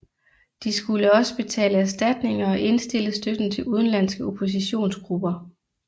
De skulle også betale erstatninger og indstille støtten til udenlandske oppositionsgrupper